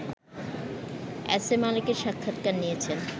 S A মালেকের সাক্ষাৎকার নিয়েছেন